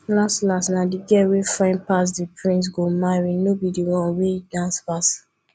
las las na the girl wey fine pass the prince go marry no be the one wey dance pass